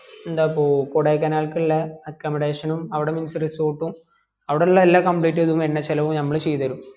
എന്താപ്പോ കൊടൈക്കനാലിലേക്കുള്ള accomadation അവിടെ means resort അവിടെ ഉള്ള എല്ലാ complete ചെയ്‌തതും എണ്ണ ചെലവും ഞമ്മള് ചെയ്ത് തെരു